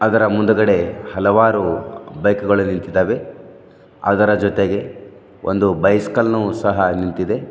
ಇದರ ಮುಂದಗಡೆ ಹಲವಾರು ಬೈಕ್ ಗಳು ನಿಂತಿದ್ದಾವೆ ಅದರ ಜೊತೆಗೆ ಒಂದು ಬೈಸಿಕಲ್ ನು ಸಹ ನಿಂತಿದೆ.